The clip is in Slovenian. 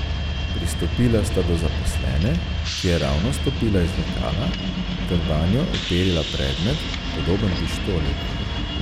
Pristopila sta do zaposlene, ki je ravno stopila iz lokala, ter vanjo uperila predmet, podoben pištoli.